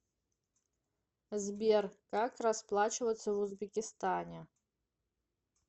сбер как расплачиваться в узбекистане